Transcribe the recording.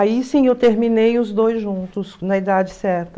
Aí sim eu terminei os dois juntos, na idade certa.